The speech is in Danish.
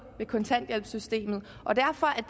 ved kontanthjælpssystemet og derfor